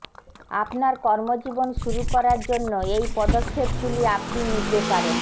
আপনার কর্মজীবন শুরু করার জন্য এই পদক্ষেপগুলি আপনি নিতে পারেন